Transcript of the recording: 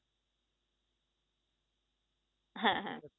হ্যাঁ হ্যাঁ